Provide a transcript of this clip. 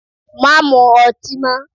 Má mu ọtí mọ́!